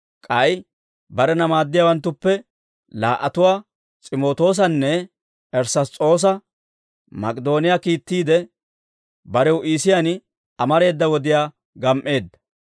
K'ay barena maaddiyaawanttuppe laa"atuwaa S'imootoosanne Erass's'oosa Mak'idooniyaa kiittiide, barew Iisiyaan amareeda wodiyaa gam"eedda.